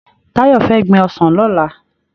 Tayo fè gbin òsán lòlá